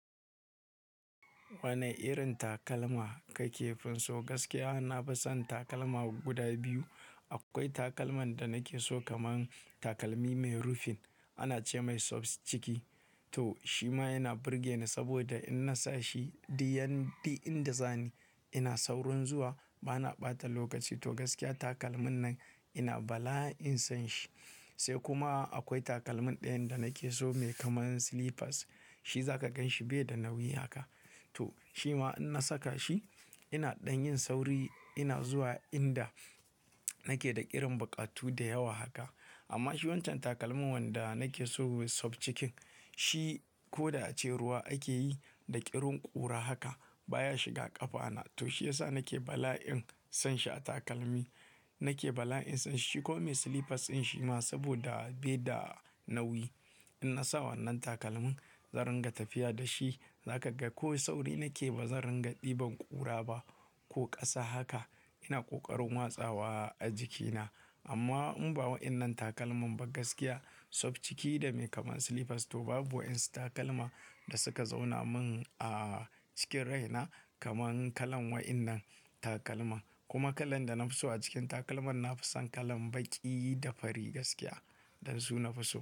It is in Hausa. Wane irin takalma ka ke finso? Gaskiya, na fi son takalma guda biyu. Akwai takalman da na ke so kamar takalmi mai rufin, ana ce mai soft ciki. To shi ma yana burge ni saboda in na sa shi, diyan-- duk-- inda za ni, ina saurin zuwa, ba na ɓata lokaci. To gaskiya takalmin nan ina bala'in son shi. Sai kuma akwai takalmin ɗayan da na ke so mai kamar slippers. Shi za ka gan shi bai da nauyi haka. To shi ma in na saka shi, ina ɗan yin sauri, ina zuwa inda na ke da irin buƙatu da yawa haka. Amma shi wancan takalmin wanda na ke so soft cikin shi ko da ace ruwa ake yi da ƙirin ƙura haka baya shiga ƙafa na. To shi ya sa na ke bala'in son shi a takalmi. Na ke bala'in son shi. Shi kuma mai slippers ɗin shi ma saboda bai da nauyi. In na sa wannan takalmin, zan ringa tafiya da shi. Za ka ga ko sauri na ke ba zan ringa ɗiban ƙura ba ko ƙasa haka. Ina ƙoƙarin watsawa a jikina. Amma in ba waɗannan takalman ba, gaskiya soft ciki da mai kamar slippers to babu wasu takalma da suka zauna min a cikin rai na kamar kalan waɗannan takalman. Kuma kalan da na fi so a cikin takalman, na fi son kalan baƙi da fari gaskiya. Dan su nafi so.